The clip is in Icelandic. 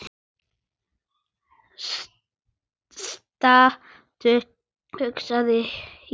Stattu, hugsa ég.